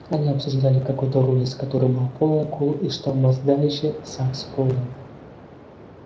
они обсуждали какой-то рулез который был полный кул и что мастдаище сакс полный